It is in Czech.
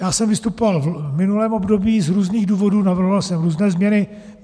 Já jsem vystupoval v minulém období z různých důvodů, navrhoval jsem různé změny.